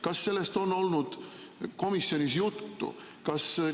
Kas sellest on olnud komisjonis juttu?